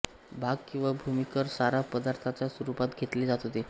भाग किंवा भूमिकर सारा पदार्थाच्या रूपात घेतले जात होते